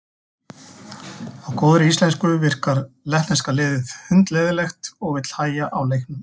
Á góðri íslensku virkar lettneska liði hundleiðinlegt og vill hægja á leiknum.